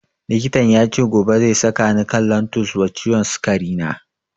Likitan yace gobe zai saka ni kan lantus wa ciwon sikari na